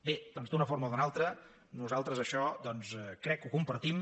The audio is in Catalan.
bé doncs d’una forma o d’una altra nosaltres això crec que ho compartim